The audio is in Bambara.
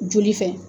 Joli fɛ